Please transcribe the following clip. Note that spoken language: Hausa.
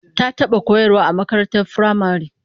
Ta taba koyarwa a makarantar firamare